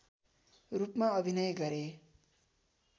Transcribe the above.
रूपमा अभिनय गरे